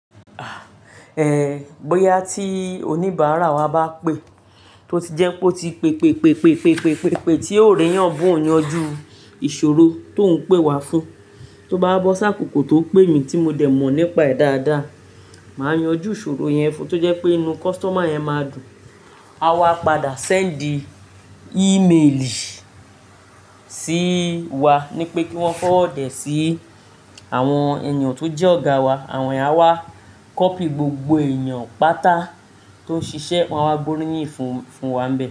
Ehn, bóyá tí oníbàárà wa bá pè, tó ti jẹ́ pé ó ti pé, pé, pé, pé, pé, pé, pé tí ó rí yàn bó oun yanjú ìṣòro tó ń pè wá fún, tó bá bọ́ sákòókò tó pè mí tí mo dẹ̀ mọ̀ nípa ẹ̀ dáadáa, màá yanjú ìṣòro yẹn fún un tó jẹ́ pé inú customer yẹn máa dùn. A wa padà send imeeli sí wa ní pé kí wọ́n forward é sí àwọn èèyàn tó jẹ́ ọ̀gá wa, àwọn èèyàn wa, copy gbogbo èèyàn pátá tó ń ṣiṣẹ́, wa wa gbóríyìn fún, fún wa be.